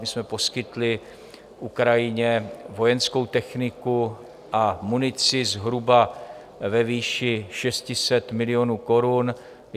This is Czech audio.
My jsme poskytli Ukrajině vojenskou techniku a munici zhruba ve výši 600 milionů korun.